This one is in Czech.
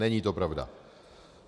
Není to pravda.